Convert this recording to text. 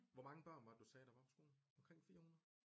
Hvor mange børn var det du sagde der var på skolen omkring 400?